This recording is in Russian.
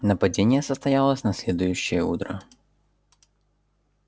нападение состоялось на следующее утро